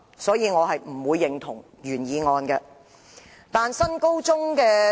因此，我不會認同原議案。